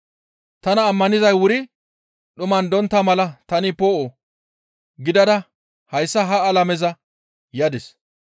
Tana ammanizay wuri dhuman dontta mala tani poo7o gidada hayssa ha alameza yadis.